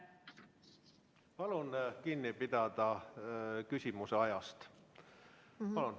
Palun kinni pidada küsimuse esitamise ajast!